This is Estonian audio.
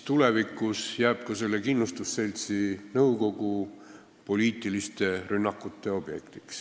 Tulevikus on ka selle kindlustusseltsi nõukogu poliitiliste rünnakute objekt.